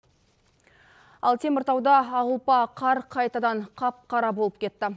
ал теміртауда ақұлпа қар қайтадан қап қара болып кетті